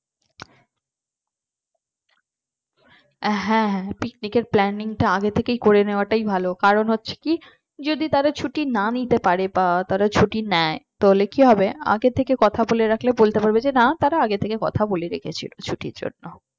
হ্যাঁ হ্যাঁ পিকনিকের planning আগের থেকে করে নেওয়াটাই ভালো কারণ হচ্ছে কি যদি তারা ছুটি না নিতে পারে বা তারা ছুটি নেয় তাহলে কি হবে আগের থেকে কথা বলে রাখলে বলতে পারবে যে না তারা আগে থেকে কথা বলে রেখেছিল ছুটির জন্য